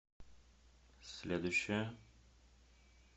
следующая